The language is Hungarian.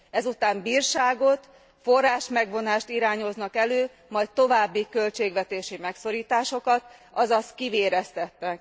Ezután bírságot, forrásmegvonást irányoznak elő, majd további költségvetési megszorításokat, azaz kivéreztetnek.